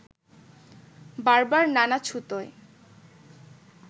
বারবার নানা ছুতোয়